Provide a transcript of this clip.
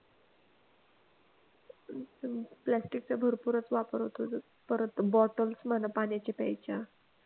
plastic चा भरपूरच वापर होतोय परत bottles म्हणा पाण्याच्या प्यायच्या